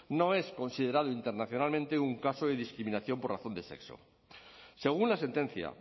no es considerado internacionalmente un caso de discriminación por razón de sexo según la sentencia